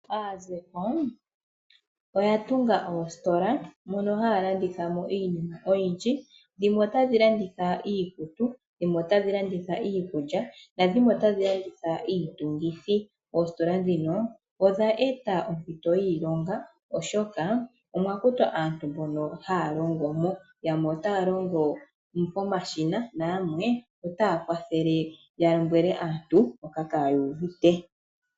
Aazeko oya tunga oositola moka haya landitha mo iinima oyindji. Dhimwe otadhi landitha iikutu dhimwe otadhi landitha iikulya nadhimwe otadhi landitha iitungithi. Oositola ndhino odha eta oompito dhiilonga, oshoka omwa kutwa aantu mbono haya longo mo. Yamwe otaya longo pomashina nayamwe otaya kwathele ya lombwele aantu mpoka kaaya uvite.